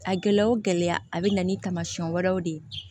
A gɛlɛya o gɛlɛya a bɛ na ni taamasiyɛn wɛrɛw de ye